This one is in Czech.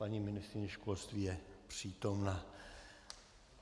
Paní ministryně školství je přítomna.